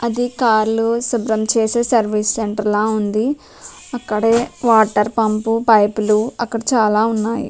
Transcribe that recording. అది కార్ లు శుభ్రం చేసే సర్వీస్ సెంటర్ లా ఉందిఅక్కడే వాటర్ పంప్ పైప్ లు అక్కడ చాలా ఉన్నాయి